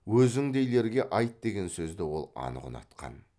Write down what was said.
өзіңдейлерге айт деген сөзді ол анық ұнатқан